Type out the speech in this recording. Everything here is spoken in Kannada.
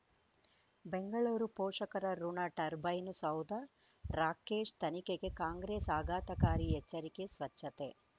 ಬೆಂಗಳೂರು ಪೋಷಕರಋಣ ಟರ್ಬೈನು ಸೌಧ ರಾಕೇಶ್ ತನಿಖೆಗೆ ಕಾಂಗ್ರೆಸ್ ಆಘಾತಕಾರಿ ಎಚ್ಚರಿಕೆ ಸ್ವಚ್ಛತೆ